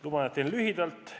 Luban, et teen lühidalt.